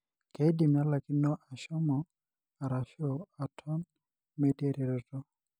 keidim nelaikino ashom arashu atone metii eretoto,